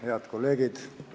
Head kolleegid!